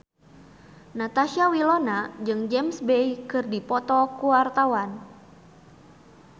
Natasha Wilona jeung James Bay keur dipoto ku wartawan